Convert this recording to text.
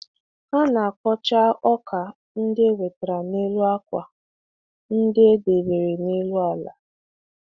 Ha na-akpọcha ọka ndị e wetara n’elu akwa ndị e debere n’elu ala.